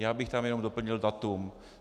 Já bych tam jenom doplnil datum.